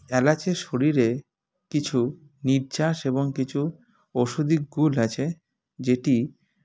এলাচের শরীরে কিছু নির্যাস এবং কিছু ঔষধি গুণ আছে যেটি